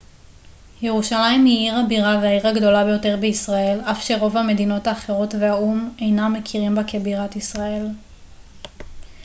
ירושלים היא עיר הבירה והעיר הגדולה ביותר בישראל אף שרוב המדינות האחרות והאו ם אינם מכירים בה כבירת ישראל